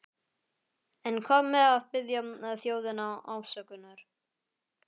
En hvað með að biðja þjóðina afsökunar?